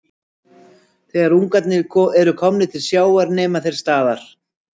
Þegar ungarnir eru komnir til sjávar nema þeir staðar.